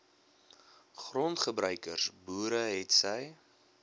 grondgebruikers boere hetsy